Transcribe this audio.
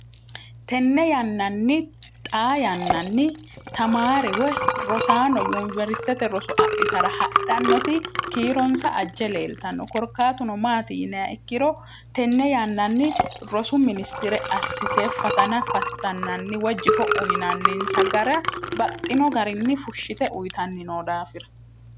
tenne yannanni xaa yannanni tamaarewe rosaano yuniwersitete roso adhitara hadhannoti kiironsa ajje leeltanno korkaatuno maati yini ikkiro tenne yannanni rosu ministire assitee fatana fattannanni wejjifo uyinanninsa gara baxxino garinni fushshite uyitanni no daafira